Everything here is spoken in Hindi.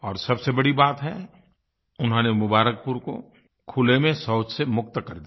और सबसे बड़ी बात है उन्होंने मुबारकपुर को खुले में शौच से मुक्त कर दिया